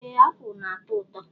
Ee apụl na-ato ụtọ.